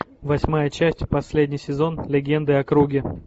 восьмая часть последний сезон легенды о круге